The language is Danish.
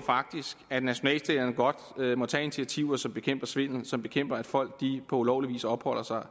faktisk at nationalstaterne godt må tage initiativer som bekæmper svindel og som bekæmper at folk på ulovlig vis opholder sig